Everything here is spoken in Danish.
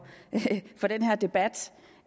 den her debat